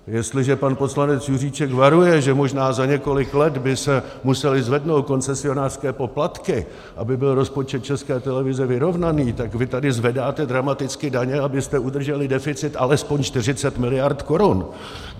Jestliže pan poslanec Juříček varuje, že možná za několik let by se musely zvednout koncesionářské poplatky, aby byl rozpočet České televize vyrovnaný, tak vy tady zvedáte dramaticky daně, abyste udrželi deficit alespoň 40 miliard korun.